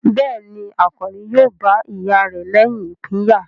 Bẹ́ẹ̀ni, Àkànní yóò bá ìyá rẹ̀ lẹ́yìn ìpínyà?